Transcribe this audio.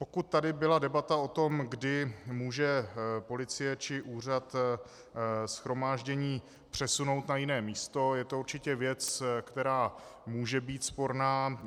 Pokud tady byla debata o tom, kdy může policie či úřad shromáždění přesunout na jiné místo, je to určitě věc, která může být sporná.